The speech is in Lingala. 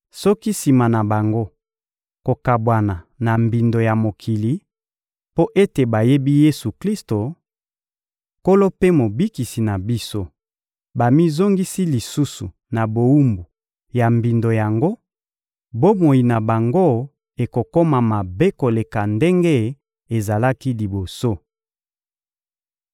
Soki, sima na bango kokabwana na mbindo ya mokili, mpo ete bayebi Yesu-Klisto, Nkolo mpe Mobikisi na biso, bamizongisi lisusu na bowumbu ya mbindo yango, bomoi na bango ekokoma mabe koleka ndenge ezalaki liboso.